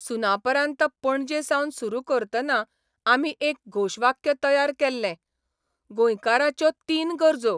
सुनापरान्त पणजेसावन सुरू करतना आमी एक घोशवाक्य तयार केल्लेः गोंयकाराच्यो तीन गरजो